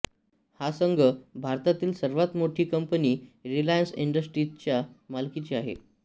हा संघ भारतातील सर्वात मोठी कंपनी रिलायन्स इंडस्ट्रीजच्या मालकीचा आहे